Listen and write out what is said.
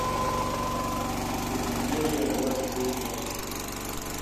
эпидемия двадцать девятнадцать